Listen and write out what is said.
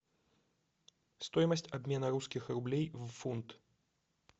стоимость обмена русских рублей в фунт